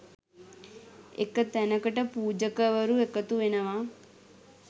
එක තැනකට පූජකවරු එකතු වෙනවා